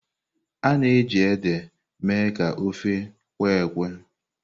A na-eji ede eme ka ofe kwe-ekwe.